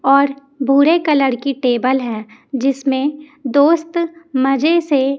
और भूरे कलर की टेबल है जिसमें दोस्त मजे से--